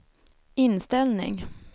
inställning